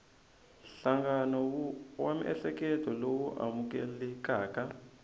nhlangano wa miehleketo lowu amukelekaka